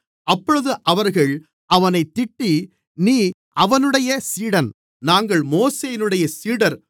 அப்பொழுது அவர்கள் அவனைத் திட்டி நீ அவனுடைய சீடன் நாங்கள் மோசேயினுடைய சீடர்